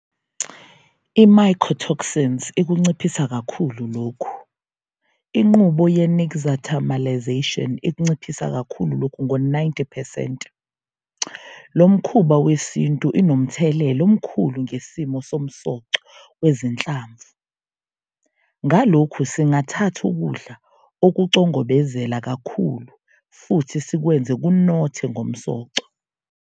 I-Mycotoxins ikunciphisa kakhulu lokhu - inqubo ye-nixtamalisation ikunciphisa kakhulu lokhu - ngo-90 percent. Lo mkhuba wesintu inomthelela omkhulu ngesimo somsoco wezinhlamvu. Ngalokhu, singathatha ukudla okucongobezela kakhulu, futhi sikwenze kunothe ngomsoco.